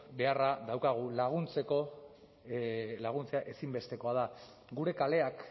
beharra daukagu laguntzea ezinbestekoa da gure kaleak